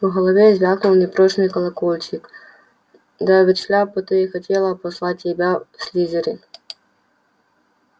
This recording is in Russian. в голове звякнул непрошеный колокольчик да ведь шляпа-то и хотела послать тебя в слизерин